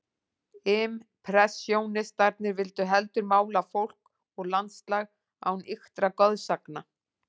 Impressjónistarnir vildu heldur mála fólk og landslag án ýktra goðsagna.